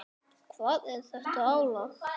Hvar er þetta álag?